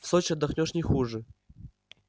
в сочи отдохнёшь не хуже